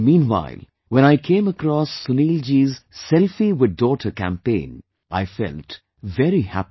And meanwhile, when I came across Sunil ji's 'Selfie With Daughter' campaign, I felt very happy